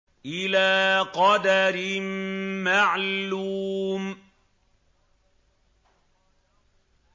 إِلَىٰ قَدَرٍ مَّعْلُومٍ